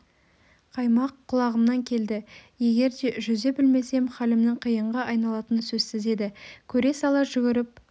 қаймақ құлағымнан келді егер де жүзе білмесем халімнің қиынға айналатыны сөзсіз еді көре сала жүгіріп